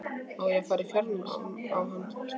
Á að fara í fjárnám á hann?